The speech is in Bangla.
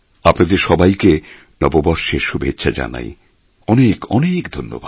আপনাদের সবাইকে নববর্ষের শুভেচ্ছা জানাই অনেক অনেক ধন্যবাদ